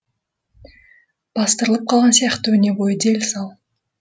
бастырылып қалған сияқты өне бойы дел сал